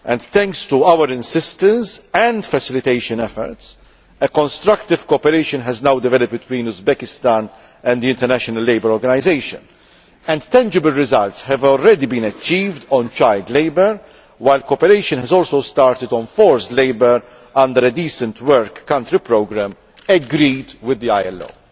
Thanks to our insistence and facilitation efforts, constructive cooperation has now developed between Uzbekistan and the International Labour Organization and tangible results have already been achieved on child labour, while cooperation has also started on forced labour under a decent work country programme agreed with the ILO.